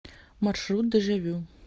маршрут дежавю